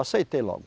Aceitei logo.